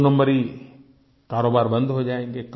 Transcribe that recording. दोनंबरी कारोबार बंद हो जाएँगे